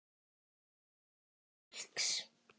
Heimili fólks.